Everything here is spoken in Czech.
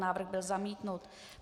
Návrh byl zamítnut.